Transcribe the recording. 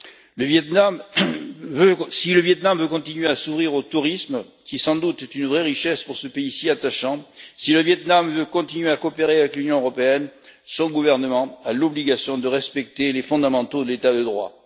Si le Viêt Nam veut continuer à s'ouvrir au tourisme, qui, sans doute, est une vraie richesse pour ce pays si attachant, si le Viêt Nam veut continuer à coopérer avec l'Union européenne, son gouvernement a l'obligation de respecter les fondamentaux de l'état de droit.